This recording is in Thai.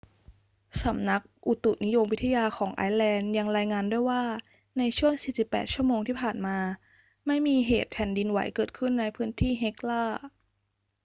สำนักอุตุนิยมวิทยาของไอซ์แลนด์ยังรายงานด้วยว่าในช่วง 48 ชั่วโมงที่ผ่านมา ไม่มีเหตุแผ่นดินไหวเกิดขึ้นในพื้นที่เฮกลา